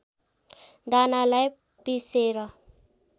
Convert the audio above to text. दानालाई पीसेर